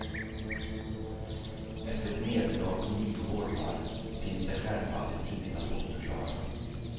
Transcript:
Efter ett nederlag på nio bollar finns det självfallet inget att bortförklara.